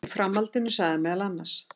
Í framhaldinu sagði meðal annars